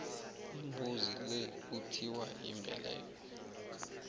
imbuzi le kuthiwa yimbeleko